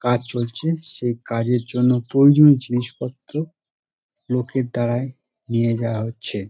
কাজ চলছে সেই কাজের জন্য প্রয়োজনীয় জিনিসপত্র লোকের দাঁড়ায় নিয়ে যাওয়া হচ্ছে ।